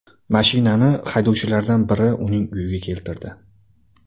Mashinani haydovchilardan biri uning uyiga keltirdi.